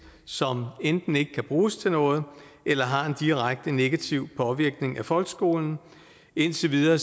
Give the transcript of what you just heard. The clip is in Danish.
som enten ikke kan bruges til noget eller har en direkte negativ påvirkning af folkeskolen indtil videre